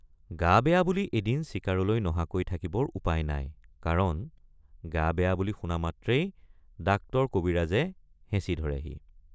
গা বেয়া বুলি এদিন চিকাৰলৈ নহাকৈ থাকিবৰ উপায় নাইকাৰণ গা বেয়া বুলি শুনা মাত্ৰেই ডাক্তৰকবিৰাজে হেঁচি ধৰেহি।